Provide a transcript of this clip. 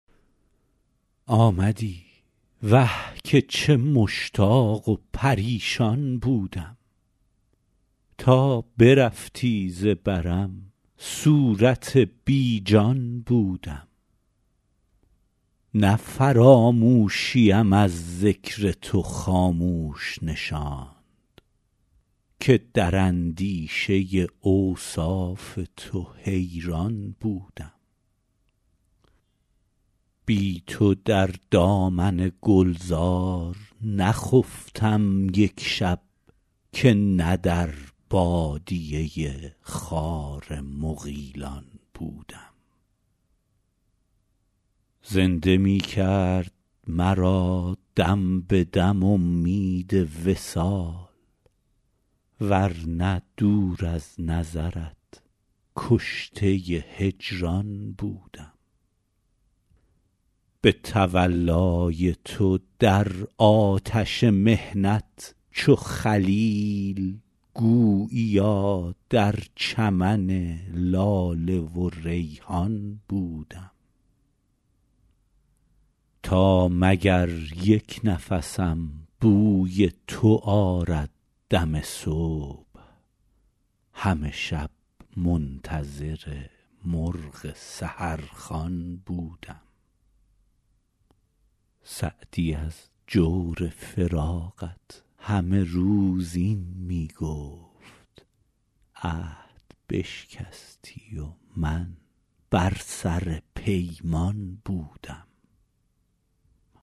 آمدی وه که چه مشتاق و پریشان بودم تا برفتی ز برم صورت بی جان بودم نه فراموشیم از ذکر تو خاموش نشاند که در اندیشه اوصاف تو حیران بودم بی تو در دامن گلزار نخفتم یک شب که نه در بادیه خار مغیلان بودم زنده می کرد مرا دم به دم امید وصال ور نه دور از نظرت کشته هجران بودم به تولای تو در آتش محنت چو خلیل گوییا در چمن لاله و ریحان بودم تا مگر یک نفسم بوی تو آرد دم صبح همه شب منتظر مرغ سحرخوان بودم سعدی از جور فراقت همه روز این می گفت عهد بشکستی و من بر سر پیمان بودم